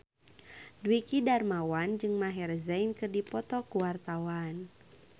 Dwiki Darmawan jeung Maher Zein keur dipoto ku wartawan